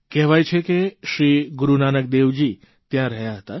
કહેવાય છે કે શ્રી ગુરૂ નાનકદેવજી ત્યાં રહ્યા હતા